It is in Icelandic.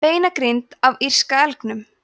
beinagrind af írska elgnum